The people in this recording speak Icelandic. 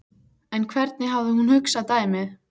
En hvernig hafði hún hugsað dæmið?